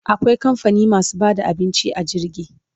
Akwai kamfani masu bada abinci a jirgi